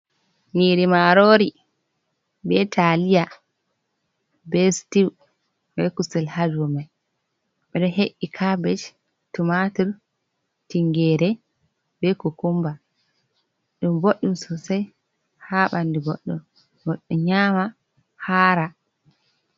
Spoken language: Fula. Nyiri marori, be taliya, be styu, be kusel ha dau mai. Ɓeɗo he'i kabej, tumatur, tingire, be kukumba. Ɗum boɗɗum sosai ha ɓandu goɗɗo. Goɗɗo nyama hara.